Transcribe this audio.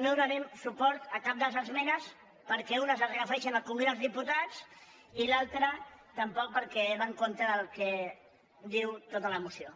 no donarem suport a cap de les esmenes perquè unes es refereixen al congrés dels diputats i a l’altra tampoc perquè va en contra del que diu tota la moció